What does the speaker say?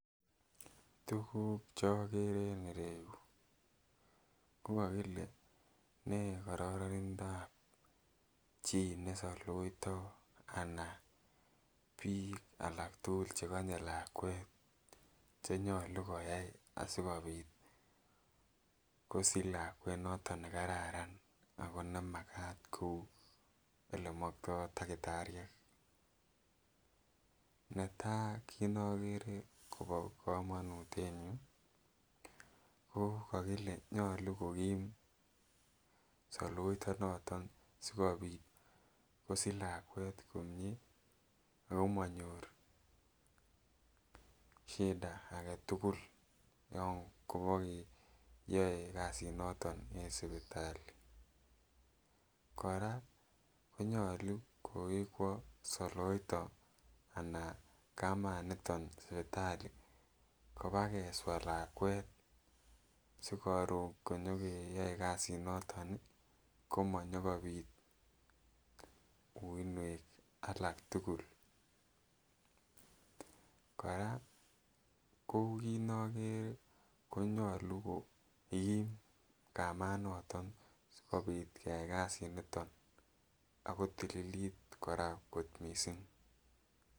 Tukuk chogere eng ureyu kokakile ne kararanindob chi ne saloito ana bik alak tukul chekanye lakwet chenyalu koyai asikobit kosich lakwet noton nekararan ako nemakat koelemakto takitaryek ,netai kit nagere Kobo kamanut eng yu ko kakile nyalu kokikm saloyto noton sikobit kosich lakwet komyee ako manyor shida ake tukul yon kyae kasi nondoneng sipitali, kora konyalu kokikwo saloyto anan kamanuton sipitali kobakeswa lakwet sikorun konyokeyoe Kasi nondon komanyukobit uinwek alk tukul, koraa kit ngere konyalu ko Kim kmanoton sikobit kyi kasit nitoni akotiilit koraa kot mising.